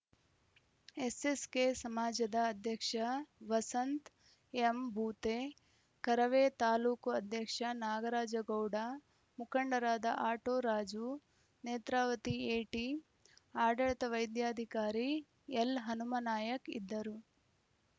SSK ಸಮಾಜದ ಅಧ್ಯಕ್ಷ ವಸಂತ್‌ ಎಂಭೂತೆ ಕರವೇ ತಾಲೂಕು ಅಧ್ಯಕ್ಷ ನಾಗರಾಜ ಗೌಡ ಮುಖಂಡರಾದ ಆಟೋ ರಾಜು ನೇತ್ರಾವತಿ ಎಟಿ ಆಡಳಿತ ವೈದ್ಯಾಧಿಕಾರಿ ಎಲ್‌ಹನುಮನಾಯಕ್‌ ಇದ್ದರು